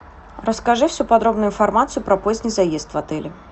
расскажи всю подробную информацию про поздний заезд в отеле